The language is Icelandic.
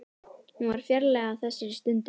Hún var fjarlæg á þessari stundu.